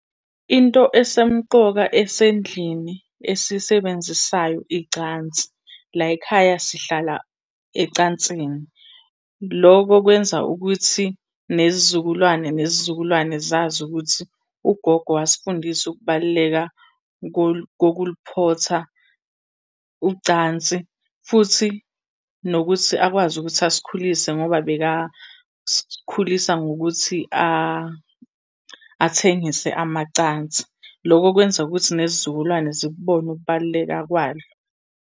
Into esemqoka esendlini esiyisebenzisayo icansi, la y'khaya sihlala ecansini. Loko kwenza ukuthi nezizukulwane nezizukulwane zazi ukuthi ugogo wasifundisa ukubaluleka kokuliphotha ucansi, futhi nokuthi akwazi ukuthi asikhulise ngoba bekasikhulisa ngokuthi athengise amacansi. Loko kwenza ukuthi nezizukulwane zikubone ukubaluleka kwalo.